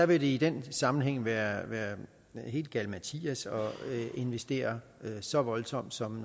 vil i den sammenhæng være helt galimatias at investere så voldsomt som